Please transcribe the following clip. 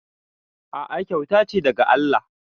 A'a kyauta ce daga Allah